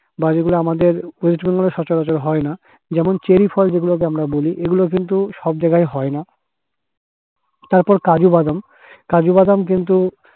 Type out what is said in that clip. বা যেগুলো আমাদের West Bengal এ সচরাচর হয়না। যেমন চেরি ফল যেগুলোকে আমরা বলি এগুলো কিন্তু সব জায়গায় হয় না। তারপর কাজুবাদাম কাজুবাদাম কিন্তু